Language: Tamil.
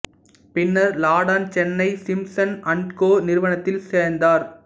பின்னர் லாடன் சென்னை சிம்ப்சன் அண்ட் கோ நிறுவனத்தில் சேர்ந்தார்